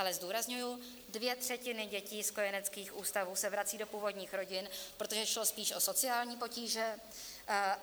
Ale zdůrazňuji, dvě třetiny dětí z kojeneckých ústavů se vracejí do původních rodin, protože šlo spíš o sociální potíže.